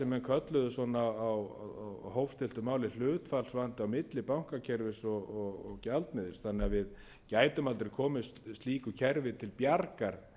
sem menn kölluðu á hófstilltu máli hlutfallsvanda milli bankakerfis og gjaldmiðils þannig að við gætum aldrei komið slíku kerfi til bjargar